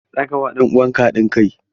Za ka ba ɗan uwanka hadin kai?